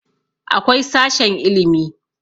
akwai sashen ilimi